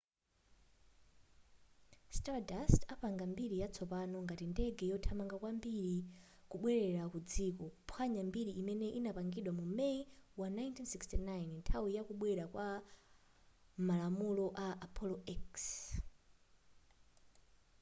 stardust apanga mbiri yatsopano ngati ndege yothamanga kwambiri kubwerera ku dziko kuphwanya mbiri imene anapanga mu may wa 1969 nthawi ya kubwera kwa malamulo a apollo x